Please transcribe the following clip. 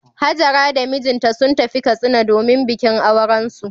Hajara da mijinta sun tafi Katsina domin bikin aurensu.